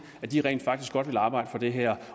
at de rent faktisk godt vil arbejde for det her